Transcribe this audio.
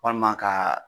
Walima ka